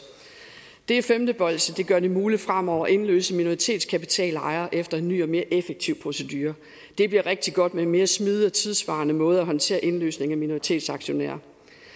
det femte bolsje gør det muligt fremover at indløse minoritetskapitalejere efter en ny og mere effektiv procedure det bliver rigtigt godt med en mere smidig og tidssvarende måde at håndtere indløsning af minoritetsaktionærer